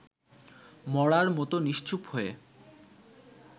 মড়ার মতো নিশ্চুপ হয়ে